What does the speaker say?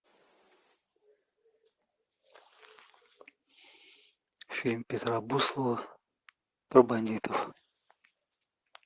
фильм петра буслова про бандитов